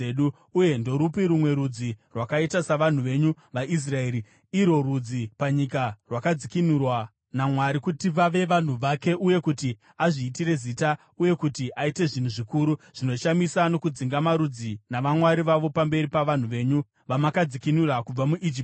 Uye ndorupi rumwe rudzi rwakaita savanhu venyu vaIsraeri, irwo rudzi panyika rwakadzikinurwa naMwari kuti vave vanhu vake, uye kuti azviitire zita, uye kuti aite zvinhu zvikuru zvinoshamisa nokudzinga marudzi navamwari vawo pamberi pavanhu venyu, vamakadzikinura kubva muIjipiti?